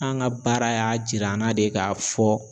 An ka baara y'a jira an na de ka fɔ